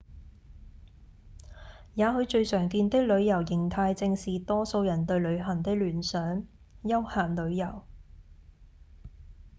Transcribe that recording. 也許最常見的旅遊型態正是多數人對旅行的聯想：休閒旅遊